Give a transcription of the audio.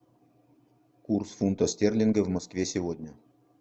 курс фунта стерлинга в москве сегодня